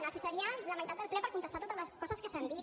necessitaria la meitat del ple per contestar totes les coses que s’han dit